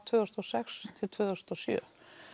tvö þúsund og sex til tvö þúsund og sjö